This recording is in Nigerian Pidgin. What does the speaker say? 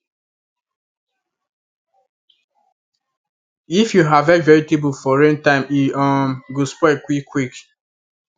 if you harvest vegetable for rain time e um go spoil quick quick